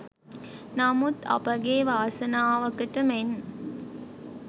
නමුත් අපගේ වාසනාවකට මෙන්